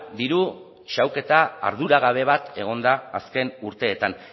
diru xahuketa arduragabe bat egon da azken urteetan